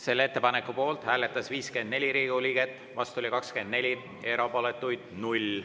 Selle ettepaneku poolt hääletas 54 Riigikogu liiget, vastu oli 24, erapooletuid 0.